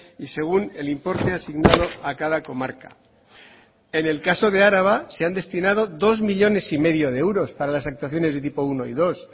y según el importe asignado a cada comarca en el caso de araba se han destinado dos coma cinco millónes de euros para las actuaciones de tipo uno y dos